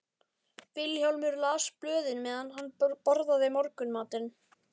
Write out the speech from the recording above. Vilhjálmur las blöðin meðan hann borðaði morgunmatinn.